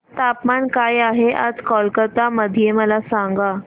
तापमान काय आहे आज कोलकाता मध्ये मला सांगा